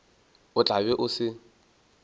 o tla be o se